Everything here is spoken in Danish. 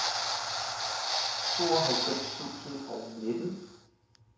tooghalvfems tusind og nitten